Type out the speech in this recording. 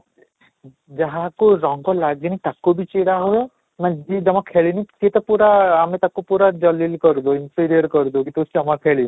ଯାହାକୁ ରଙ୍ଗ ଲାଗିନି ତାକୁ ବି ଚିଡ଼ା ହୁଏ ମାନେ ଯିଏ ଜମା ଖେଳିନି ସିଏ ତ ପୁରା ଆମେ ତାକୁ ପୁରା କରିଦଉ କରିଦଉ କି ତୁ ଜମା ଖେଳିନୁ